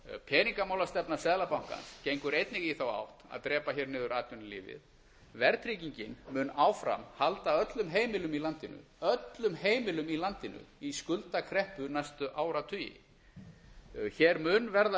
peningamálastefna seðlabankans gengur einnig í þá átt að drepa hér niður atvinnu lífið verðtryggingin mun áfram halda öllum heimilum í landinu öllum heimilum í landinu í skuldakreppu næstu áratugi hér mun verða